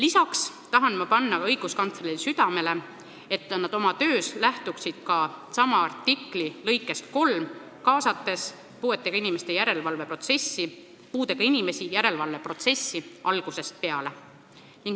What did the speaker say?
Samas tahan ma õiguskantslerile südamele panna, et nad lähtuksid oma töös ka artikli 33 lõikest 3, kaasates puudega inimesi järelevalveprotsessi algusest peale.